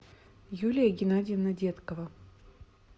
юлия геннадьевна деткова